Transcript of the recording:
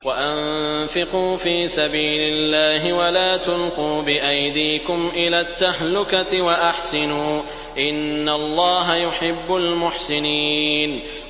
وَأَنفِقُوا فِي سَبِيلِ اللَّهِ وَلَا تُلْقُوا بِأَيْدِيكُمْ إِلَى التَّهْلُكَةِ ۛ وَأَحْسِنُوا ۛ إِنَّ اللَّهَ يُحِبُّ الْمُحْسِنِينَ